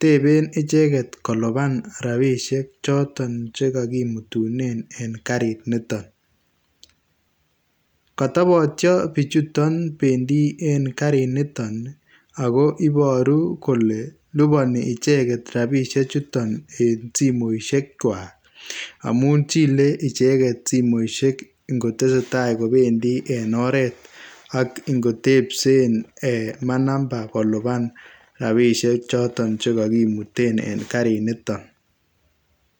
,teben icheget koliban rabisiek choton chekokimutunen en kariniton kotobotio bichuton bendi en kariniton ako iboru kole liboni icheget rabisiechuton en simoisiekwak amun chile ocheget simoisiek ingotesee taa kobendi en oret ak ingotepsen manamba koliban rabisiechoton chekokimuten en kariniton.